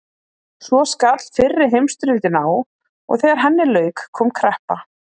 Svo skall fyrri heimsstyrjöldin á og þegar henni lauk kom kreppa.